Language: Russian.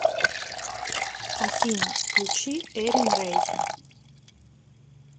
афина включи эрин рэй